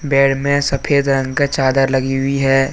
बेड़ में सफेद रंग का चादर लगी हुई है।